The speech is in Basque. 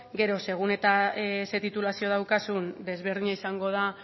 gero segun eta zein titulazio daukazun desberdina izango da